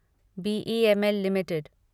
BEML limited